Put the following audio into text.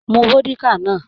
Mú vódíkà náà!